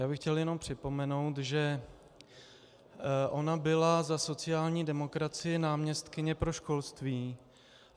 Já bych chtěl jenom připomenout, že ona byla za sociální demokracii náměstkyně pro školství.